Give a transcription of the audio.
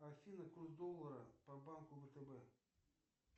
афина курс доллара по банку втб